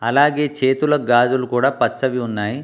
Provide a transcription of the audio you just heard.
అలాగే చేతులకు గాజులు కూడా పచ్చవి ఉన్నాయ్.